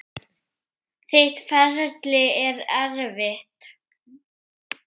Þitt ferli er erfitt.